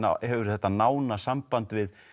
hefur þetta nána samband við